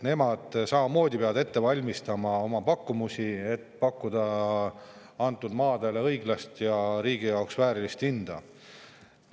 Nemad peavad samamoodi oma pakkumusi ette valmistama, et pakkuda antud maadele õiglast ja riigi jaoks väärilist hinda.